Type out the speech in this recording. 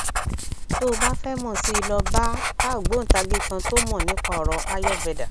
tó o bá fẹ mọ sí i lọ bá bá ògbóntagì kan tó mọ nípa ọrọ ayurveda